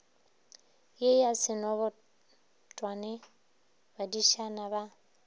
ye ya senobotwane badišana ba